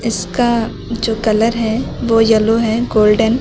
उसका जो कलर है वो येलो है गोल्डन ।